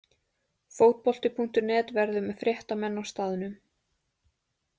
Fótbolti.net verður með fréttamenn á staðnum.